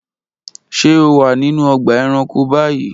Ṣe o wa ninu ọgba ẹranko bayi?